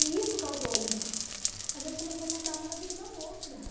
E isso causou algum... A gente começou a mandar uma na vida da outra.